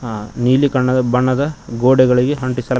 ಆ ನೀಲಿ ಕಣ್ಣದ ಬಣ್ಣದ ಗೋಡೆಗಳಿಗೆ ಅಂಟಿಸ--